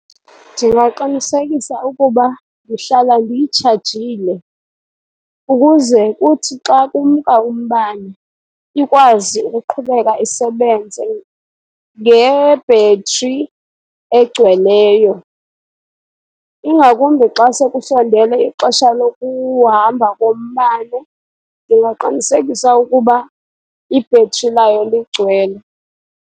Ndingaqinisekisa ukuba ndihlala ndiyitshajile ukuze kuthi xa kumka umbane, ikwazi ukuqhubeka isebenze nge-battery egcweleyo. Ingakumbi xa sekusondele ixesha lokuhamba kombane, ndingaqinisekisa ukuba i-battery layo ligcwele.